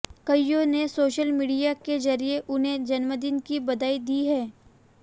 कईयों ने social media के जरिए उन्हें जन्मदिन की बधाई दी है